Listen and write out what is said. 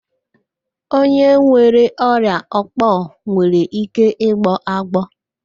Onye nwere ọrịa òkpò nwere ike ịgbọ agbọọ